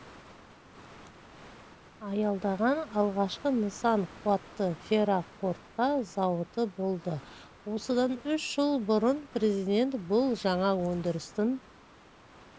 аялдаған алғашқы нысан қуатты ферроқорытпа зауыты болды осыдан үш жыл бұрын президент бұл жаңа өндірістің